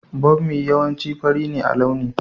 Bommi yawanci fari ne a launi.